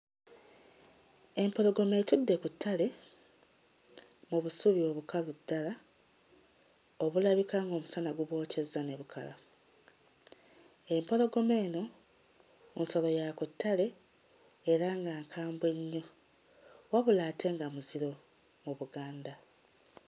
Empologoma ekutte ku ttale mu busubi obukalu ddala obulabika ng'omusana gubwokyezza ne bukala, empologoma eno nsolo ya ku ttale era nga nkambwe nnyo, wabula ate nga muziro mu Buganda.